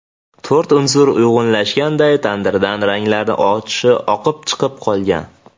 To‘rt unsur uyg‘unlashganday tandirdan ranglari oqib chiqib qolgan.